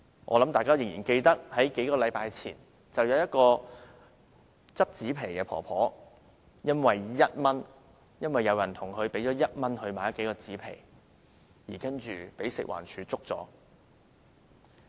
我想大家仍然記得，數星期前有一名撿紙皮的婆婆因為有人向她用1元買了數塊紙皮，而被食物環境衞生署檢控。